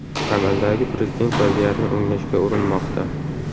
Amaldagi prezident vaziyatni o‘nglashga urinmoqda.